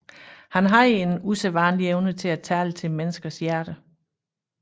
Han havde en usædvanlig evne til at tale til menneskers hjerter